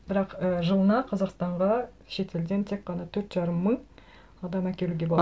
бірақ і жылына қазақстанға шетелден тек қана төрт жарым мың адам әкелуге болады